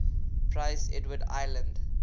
prince edward island